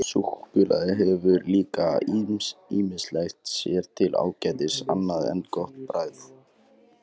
Súkkulaði hefur líka ýmislegt sér til ágætis annað en gott bragð.